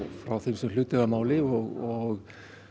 frá þeim sem hlut eiga að máli og